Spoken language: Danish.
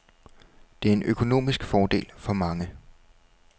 Det er en økonomisk fordel for mange.